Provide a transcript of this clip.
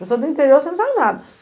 Pessoa do interior, você não sabe nada.